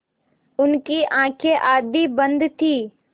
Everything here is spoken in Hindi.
उनकी आँखें आधी बंद थीं